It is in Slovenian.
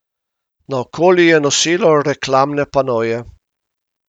Naokoli je nosilo reklamne panoje.